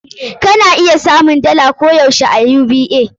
Ka na iya samun dala koh yaushe a UBA.